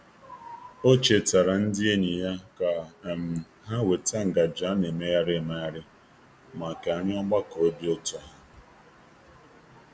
O chetaara ndị enyi ya ka um ha weta ngaji a na-emegharị emegharị maka nri ogbakọ obi ụtọ ha.